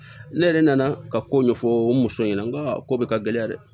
Ne yɛrɛ nana ka ko ɲɛfɔ n muso ɲɛna n ka ko bɛ ka gɛlɛya dɛ